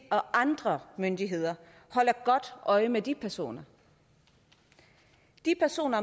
og andre myndigheder holder godt øje med de personer de personer